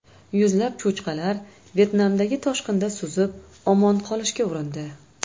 Yuzlab cho‘chqalar Vyetnamdagi toshqinda suzib omon qolishga urindi .